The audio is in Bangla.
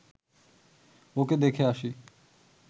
ওকে দেখে আসি